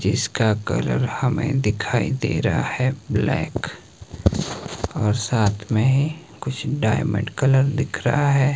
जिसका कलर हमें दिखाई दे रहा है ब्लैक और साथ में कुछ डायमंड कलर दिख रहा है।